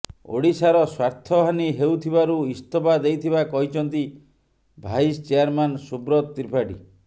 ଓଡିଶାର ସ୍ୱାର୍ଥହାନୀ ହେଉଥିବାରୁ ଇସ୍ତଫା ଦେଇଥିବା କହିଛନ୍ତି ଭାଇସ ଚେୟାରମ୍ୟାନ ସୁବ୍ରତ ତ୍ରିପାଠୀ